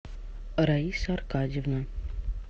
раиса аркадьевна